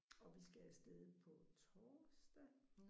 Og vi skal afsted på torsdag